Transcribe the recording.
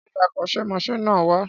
Ṣé akọ́ṣẹ́mọṣẹ́ náà wà?